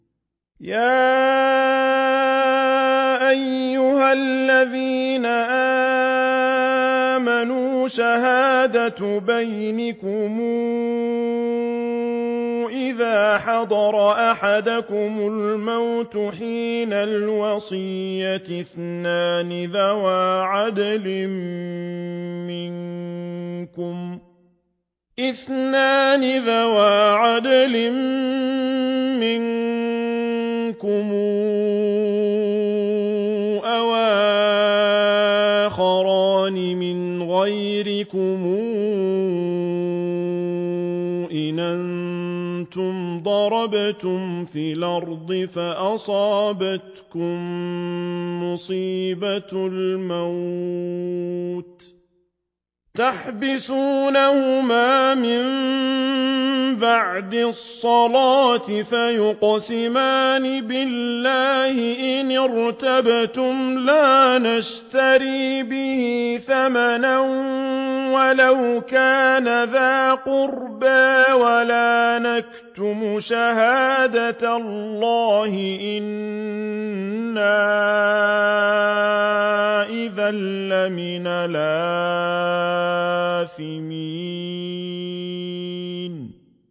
يَا أَيُّهَا الَّذِينَ آمَنُوا شَهَادَةُ بَيْنِكُمْ إِذَا حَضَرَ أَحَدَكُمُ الْمَوْتُ حِينَ الْوَصِيَّةِ اثْنَانِ ذَوَا عَدْلٍ مِّنكُمْ أَوْ آخَرَانِ مِنْ غَيْرِكُمْ إِنْ أَنتُمْ ضَرَبْتُمْ فِي الْأَرْضِ فَأَصَابَتْكُم مُّصِيبَةُ الْمَوْتِ ۚ تَحْبِسُونَهُمَا مِن بَعْدِ الصَّلَاةِ فَيُقْسِمَانِ بِاللَّهِ إِنِ ارْتَبْتُمْ لَا نَشْتَرِي بِهِ ثَمَنًا وَلَوْ كَانَ ذَا قُرْبَىٰ ۙ وَلَا نَكْتُمُ شَهَادَةَ اللَّهِ إِنَّا إِذًا لَّمِنَ الْآثِمِينَ